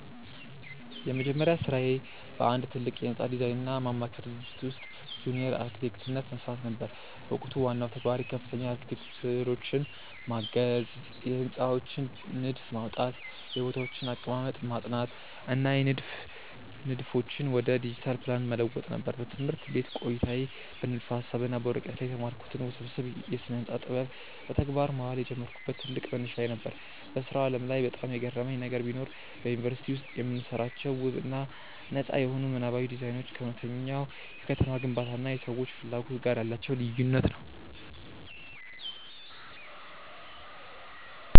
የመጀመሪያ ሥራዬ በአንድ ትልቅ የሕንፃ ዲዛይንና ማማከር ድርጅት ውስጥ በጁኒየር አርክቴክትነት መሥራት ነበር። በወቅቱ ዋናው ተግባሬ ከፍተኛ አርክቴክቶችን ማገዝ፣ የሕንፃዎችን ንድፍ ማውጣት፣ የቦታዎችን አቀማመጥ ማጥናት እና የንድፍ ንድፎችን ወደ ዲጂታል ፕላን መለወጥ ነበር። በትምህርት ቤት ቆይታዬ በንድፈ-ሐሳብ እና በወረቀት ላይ የተማርኩትን ውስብስብ የስነ-ህንፃ ጥበብ በተግባር ማዋል የጀመርኩበት ትልቅ መነሻዬ ነበር። በሥራው ዓለም ላይ በጣም የገረመኝ ነገር ቢኖር፣ በዩኒቨርሲቲ ውስጥ የምንሰራቸው ውብ እና ነጻ የሆኑ ምናባዊ ዲዛይኖች ከእውነተኛው የከተማ ግንባታ እና የሰዎች ፍላጎት ጋር ያላቸው ልዩነት ነው።